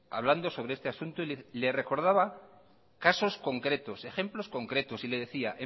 hablando sobre este asunto y le recordaba casos concretos ejemplos concretos y le decía